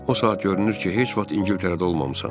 O saat görünür ki, heç vaxt İngiltərədə olmamısan.